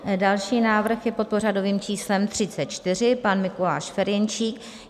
Další návrh je pod pořadovým číslem 34, pan Mikuláš Ferjenčík.